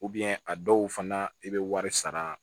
a dɔw fana i bɛ wari sara